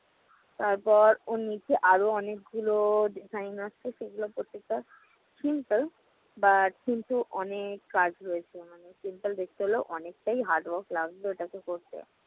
তারপর ওর নিচে আরও অনেকগুলো design আছে, সেগুলো প্রত্যেকটা simple but কিন্তু অনেক কাজ রয়েছে। মানে simple দেখতে হলেও অনেকটাই hardwork লাগবে ওটাকে করতে।